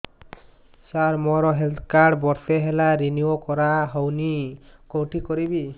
ସାର ମୋର health card ବର୍ଷେ ହେଲା ରିନିଓ କରା ହଉନି କଉଠି କରିବି